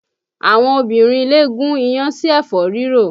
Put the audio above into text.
Àwọn obìnrin ilé gún iyán sí ẹ̀fọ́ rírò